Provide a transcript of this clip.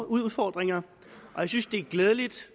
udfordringer og jeg synes det er glædeligt